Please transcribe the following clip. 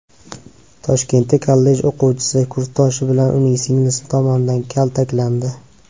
Toshkentda kollej o‘quvchisi kursdoshi va uning singlisi tomonidan kaltaklandi.